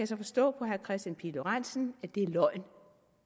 så forstå på herre kristian pihl lorentzen at det er løgn